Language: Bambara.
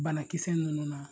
Banakisɛ ninnu na